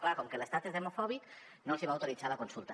clar com que l’estat és demofòbic no els hi va autoritzar la consulta